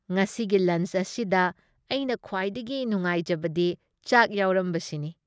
ꯉꯁꯤꯒꯤ ꯂꯟꯆ ꯑꯁꯤꯗ ꯑꯩꯅ ꯈꯨꯋꯥꯏꯗꯒꯤ ꯅꯨꯉꯥꯏꯖꯕꯗꯤ ꯆꯥꯛ ꯌꯥꯎꯔꯝꯕꯁꯤꯅꯤ ꯫